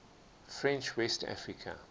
french west africa